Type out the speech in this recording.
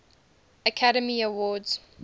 academy awards